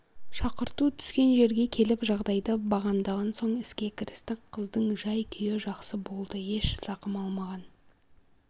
шақырту түскен жерге келіп жағдайды бағамдаған соң іске кірістік қыздың жай-күйі жақсы болды еш зақым алмаған